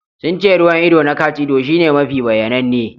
Sun ce ruwan ido na cat-ido shine mafi bayyananne.